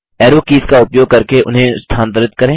arrow keys का उपयोग करके उन्हें स्थानांतरित करें